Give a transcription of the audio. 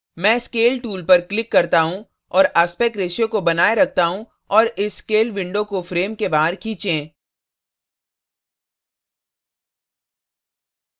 मैं scale tool पर click करता हूँ और aspect ratio aspect ratio को बनाये रखता हूँ और इस scale window को frame के बाहर खींचें